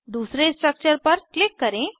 दूसरे स्ट्रक्चर पर क्लिक करें